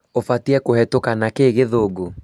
ũbatiĩ kũhetũka na kĩĩ gĩthũngũ?